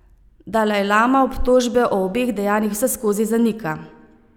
Dalajlama obtožbe o obeh dejanjih vseskozi zanika.